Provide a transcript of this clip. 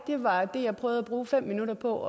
på